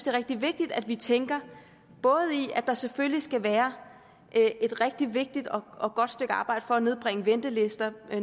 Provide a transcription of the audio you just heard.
er rigtig vigtigt at vi tænker både i at der selvfølgelig skal være et rigtig vigtigt og godt stykke arbejde for at nedbringe ventelister